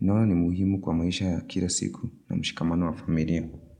Naona ni muhimu kwa maisha ya kila siku na mshikamano wa familia.